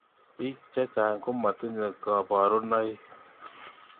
Bik chechang komatinye kabaruneik.